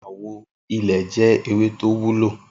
Iráwò ilè jè éwé tó wúló